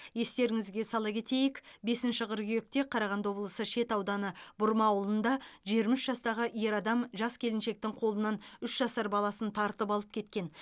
естеріңізге сала кетейік бесінші қыркүйекте қарағанды облысы шет ауданы бұрма ауылында жиырма үш жастағы ер адам жас келіншектің қолынан үш жасар баласын тартып алып кеткен